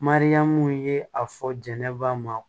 Mariyamu ye a fɔ jɛnɛba ma